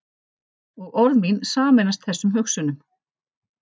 Og orð mín sameinast þessum hugsunum.